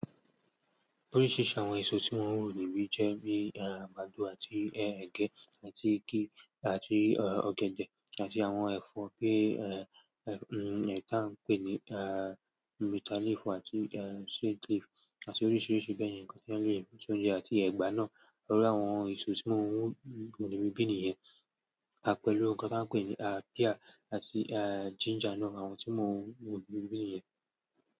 Oríṣìíríṣìí àwọn èso tí wọ́n ń wò nì bí i jẹ́ bí i àgbàdo àti ẹgẹ àti igi àti ọ̀gẹ̀dẹ̀ àti àwọn ẹ̀fọ́ kí í ẹ̀ tá ń pè ní bitter leaf àti sweet leaf àti oríṣìíríṣìí bẹ́ẹ̀ yẹn nǹkan tí wọ́n lò ní ìsọ́ oúnjẹ àti ẹ̀gbà náà. Lórí àwọn èso tí wọ́n ń wò lòdì bí i nìyẹn, àpẹẹrẹ nǹkan tí wọ́n ń pè ní à píà àti à ginger náà àwọn tí wọ́n ń wò lòdì bí i nìyẹn.